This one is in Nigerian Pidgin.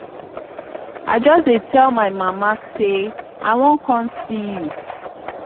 i just dey tell my my mama say i wan come see you